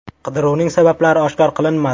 Qidiruvning sabablari oshkor qilinmadi.